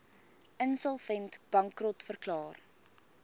insolvent bankrot verklaar